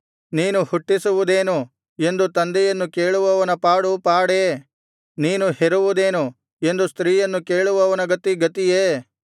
ನೀನು ಹುಟ್ಟಿಸುವುದೇನು ಎಂದು ತಂದೆಯನ್ನು ಕೇಳುವವನ ಪಾಡು ಪಾಡೇ ನೀನು ಹೆರುವುದೇನು ಎಂದು ಸ್ತ್ರೀಯನ್ನು ಕೇಳುವವನ ಗತಿ ಗತಿಯೇ